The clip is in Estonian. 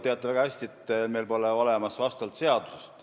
Te teate väga hästi, et meil pole olemas vastavat seadust.